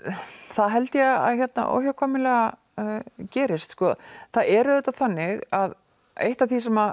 það held ég að óhjákvæmilega gerist sko það er auðvitað þannig að eitt af því sem